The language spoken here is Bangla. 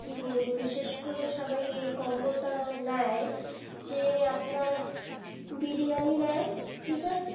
কি বলবো বিশেষ করে সবাই এই combo টা নেয় যে আপনার বিরিয়ানি নেয় ঠিক আছে